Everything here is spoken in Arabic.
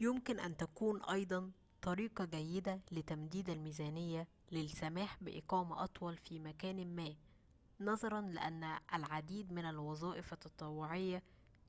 يمكن أن تكون أيضاً طريقة جيدة لتمديد الميزانية للسماح بإقامة أطول في مكان ما نظراً لأن العديد من الوظائف التطوعية